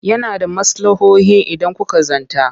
Yana da maslahohin idan kuka zanta.